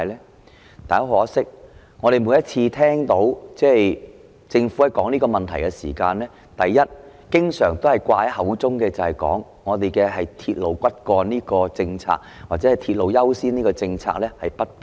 然而，很可惜，我們每次聽到政府討論這個問題的時候，經常掛在口邊的是，本港以"鐵路為骨幹"或"鐵路優先"的政策不變。